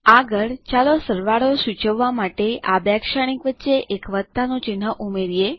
આગળ ચાલો સરવાળો સૂચવવા માટે આ બે શ્રેણીક વચ્ચે એક વત્તાનું ચિહ્ન ઉમેરીએ